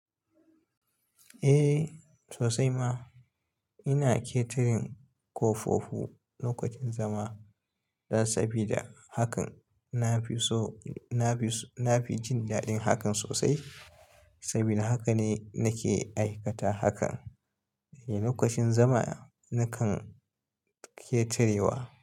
Eh sosai ma ina ƙetirin ƙofofu lokacin zama dan sabida hakan nafi so, nafi jin daɗin hakan sosai saboda haka ne nake aikata hakan. Eh lokacin zama nakan ƙetirewa.